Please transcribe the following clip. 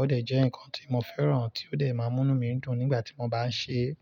Ó dẹ̀ jẹ́ ǹkan tí mo fẹ́ràn tí ó dẹ̀ máa ń mú inu mí dùn nígbà tí mo bá ń ṣe é.